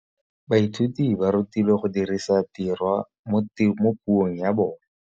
Baithuti ba rutilwe go dirisa tirwa mo puong ya bone.